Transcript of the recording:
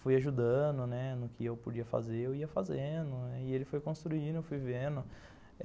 Fui ajudando, né, no que eu podia fazer, eu ia fazendo, e ele foi construindo, eu fui vendo.